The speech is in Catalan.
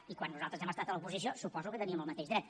i quan nosaltres hem estat a l’oposició suposo que hi teníem el mateix dret